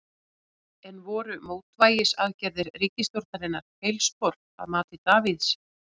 En voru mótvægisaðgerðir ríkisstjórnarinnar feilspor að mati Davíðs?